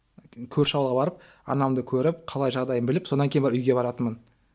көрші ауылға барып анамды көріп қалай жағдайын біліп сонан кейін барып үйге баратынмын